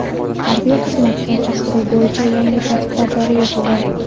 Harbiy xizmatga chaqiruv bo‘yicha yangi tartiblar joriy etildi.